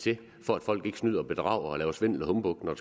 til for at folk ikke snyder og bedrager og laver svindel og humbug når